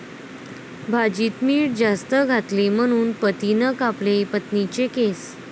भाजीत मीठ जास्त घातले म्हणून पतीनं कापले पत्नीचे केस!